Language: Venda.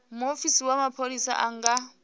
muofisi wa mapholisa a nga